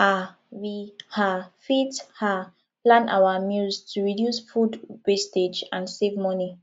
um we um fit um plan our meals to reduce food wastage and save money